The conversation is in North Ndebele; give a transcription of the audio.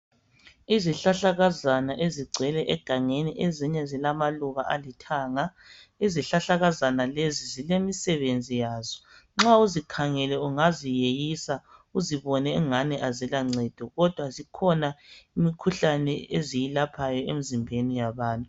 Izihlahlakazana ezigcwele egangeni, ezinye zilamaluba alithanga. Izihlahlakazana lezi zilemisebenzi yazo. Nxa uzikhangele ungaziyeyisa uzibone engani azilancedo kodwa zikhona imkhuhlane eziyilaphayo emzimbeni yabantu.